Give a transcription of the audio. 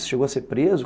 Você chegou a ser preso?